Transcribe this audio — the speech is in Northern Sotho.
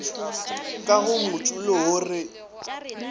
ka go motšulo wo re